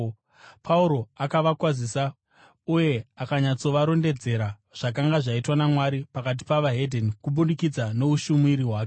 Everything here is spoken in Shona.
Pauro akavakwazisa uye akanyatsovarondedzera zvakanga zvaitwa naMwari pakati pavaHedheni kubudikidza noushumiri hwake.